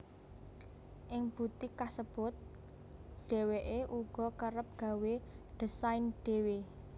Ing butik kasebut dheweké uga kerep gawé désain dhewe